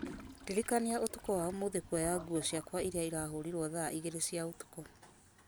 ndirikania ũtukũ wa ũmũthĩ kwoya nguo ciakwa iria irahũrirwo thaa igĩrĩ cia ũtukũ